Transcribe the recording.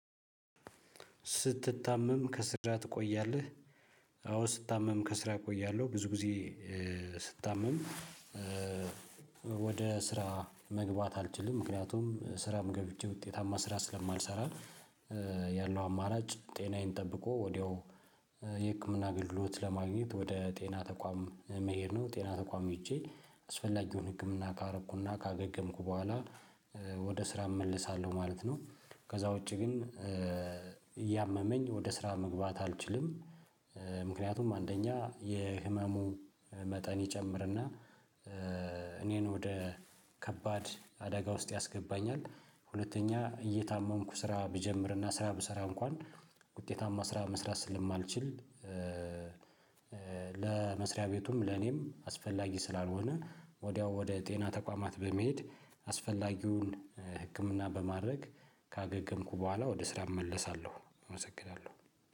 ስትታመም ከስራ ትቆያለህ? አዎ ስታመም ከስራ እቆያለሁ ብዙ ጊዜ። ስታመም ወደ ስራ መግባት አልችልም ምክንያቱም ስራም ገብቼ ውጤታማ ስራ ስለማልሰራ። ያለው አማራጭ ጤናዬን ጠብቆ ወዲያው የህክምና አገልግሎት ለማግኘት ወደ ጤና ተቋም መሄድ ነው። ጤና ተቋም ሄጄ አስፈላጊውን ህክምና ካረኩና ካገገምኩ በኋላ ወደ ስራ እመልሳለሁ ማለት ነው። ከዛ ውጪ ግን እያመመኝ ወደ ስራ መግባት አልችልም። ምክንያቱም አንደኛ የህመሙ መጠን ይጨምርና እኔን ወደ ከባድ አደጋ ውስጥ ያስገባኛል። ሁለተኛ እየታመንኩ ስራ ብጀምርና ስራ ብሰራ እንኳን ውጤታማ ስራ መስራት ስለማልችል። ለመስሪያ ቤቱም ለኔም አስፈላጊ ስላልሆነ። ወዲያው ወደ ጤና ተቋማት በመሄድ አስፈላጊውን ህክምና በማድረግ ካገገምኩ በኋላ ወደ ስራ እመለሳለሁ እመሰግናለሁ።